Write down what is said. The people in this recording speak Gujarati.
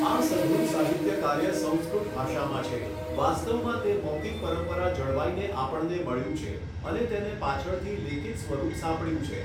આ સઘળું સાહિત્યકાર્ય સંસ્કૃત ભાષામાં છે વાસ્તવમાં તે મૌખિક પરંપરા જળવાઈને આપણને મળ્યું છે અને તેને પાછળથી લેખિત સ્વરૂપ સાંપડ્યું છે.